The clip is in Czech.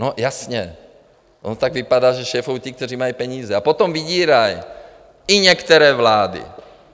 No, jasně, ono tak vypadá, že šéfují ti, kteří mají peníze, a potom vydírají i některé vlády.